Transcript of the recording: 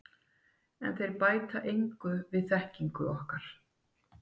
En þeir bæta engu við þekkingu okkar.